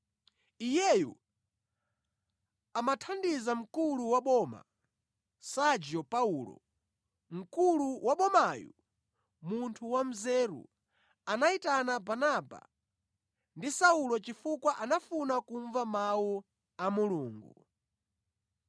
Iyeyu, amathandiza mkulu wa boma, Sergio Paulo. Mkulu wa bomayu, munthu wanzeru, anayitana Barnaba ndi Saulo chifukwa anafuna kumva Mawu a Mulungu.